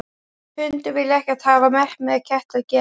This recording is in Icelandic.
Hundar vilja ekkert hafa með ketti að gera.